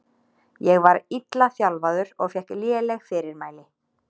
Ég var illa þjálfaður og fékk léleg fyrirmæli.